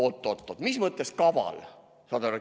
Oot-oot-oot, mis mõttes kaval?